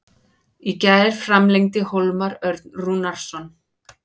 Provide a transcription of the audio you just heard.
Í gær framlengdi Hólmar Örn Rúnarsson.